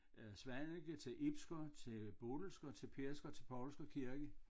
Svaneke til Ibsker til Bodilsker til Pedersker og til Poulsker kirke